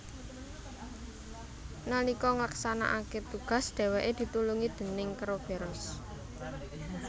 Nalika nglaksanakake tugas dheweke ditulungi déning keroberos